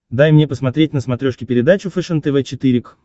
дай мне посмотреть на смотрешке передачу фэшен тв четыре к